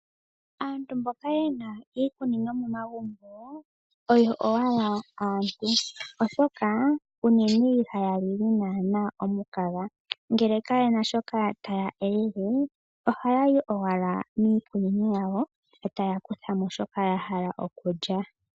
Aantu mboka yena iikunino oyo owala aantu, oshoka unene ihaya lili naana omukaga ngele kayena shoka taya elele, ohaya yi owala miikunino yawo etaya kutha mo shoka ya hala okulya.